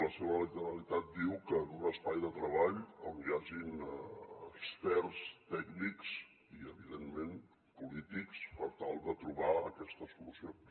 la seva literalitat diu que en un espai de treball on hi hagin experts tècnics i evidentment polítics per tal de trobar aquestes solucions